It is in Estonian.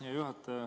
Hea juhataja!